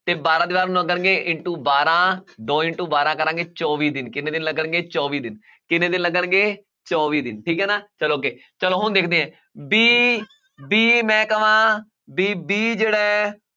ਤੇ ਬਾਰਾਂ ਦੀਵਾਰਾਂ ਨੂੰ ਲੱਗਣਗੇ into ਬਾਰਾਂ ਦੋ into ਬਾਰਾਂ ਕਰਾਂਗੇ ਚੌਵੀ ਦਿਨ ਕਿੰਨੇ ਦਿਨ ਲੱਗਣਗੇ ਚੌਵੀ ਦਿਨ ਕਿੰਨੇ ਦਿਨ ਲੱਗਣਗੇ ਚੌਵੀ ਦਿਨ ਠੀਕ ਹੈ ਨਾ ਚਲੋ ਅੱਗੇ ਚਲੋ ਹੁਣ ਦੇਖਦੇ ਹਾਂ b, b ਮੈਂ ਕਵਾਂ ਵੀ b ਜਿਹੜਾ ਹੈ